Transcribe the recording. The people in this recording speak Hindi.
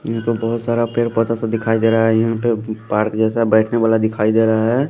यहां पे बहोत सारा पेड़ पौधा सा दिखाई दे रहा है यहां पे पार्क जैसा बैठने वाला दिखाई दे रहा है।